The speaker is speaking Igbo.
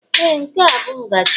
Ee, nke a bụ ngaji